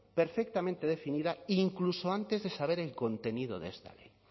perfectamente definida incluso antes de saber el contenido de esta ley